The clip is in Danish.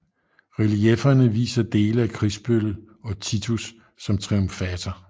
Reliefferne viser dele af krigsbyttet og Titus som triumfator